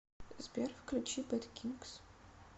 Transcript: сбер включи бэд кингс